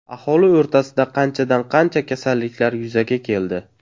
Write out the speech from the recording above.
Aholi o‘rtasida qanchadan qancha kasalliklar yuzaga keldi.